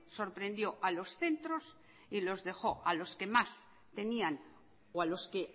sorprendió a los centros y los dejó a los que más tenían o a los que